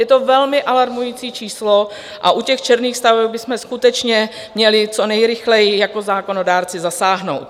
Je to velmi alarmující číslo a u těch černých staveb bychom skutečně měli co nejrychleji jako zákonodárci zasáhnout.